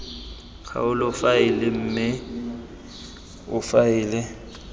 kgaolo faele mme o faele